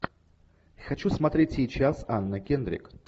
хочу смотреть сейчас анна кендрик